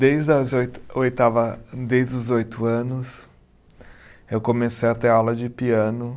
Desde as oito, oitava, desde os oito anos, eu comecei a ter aula de piano.